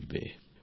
প্রেম জী হ্যাঁ